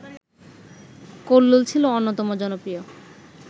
কল্লোল ছিল অন্যতম জনপ্রিয়